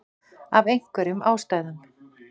Af einhverjum ástæðum.